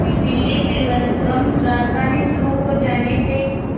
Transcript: नई दिल्ली तिरुवनंतपुरम राजधानी शुरू हो जाने से